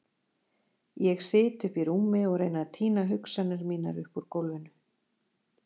Ég sit uppi í rúmi og reyni að tína hugsanir mínar upp úr gólfinu.